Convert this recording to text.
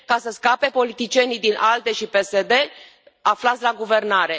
Ca să scape politicienii din ALDE și PSD aflați la guvernare.